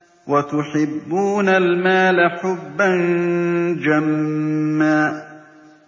وَتُحِبُّونَ الْمَالَ حُبًّا جَمًّا